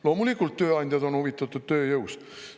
" Loomulikult tööandjad on huvitatud tööjõust.